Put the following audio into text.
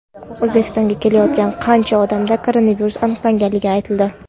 O‘zbekistonga kelayotgan qancha odamda koronavirus aniqlangani aytildi.